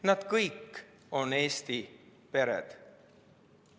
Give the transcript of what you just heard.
Nad kõik on Eesti pered.